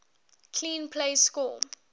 clean plays score